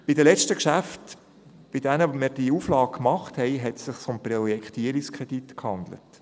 Bei den letzten Geschäften, bei denen wir diese Auflage machten, handelte es sich um Projektierungskredite.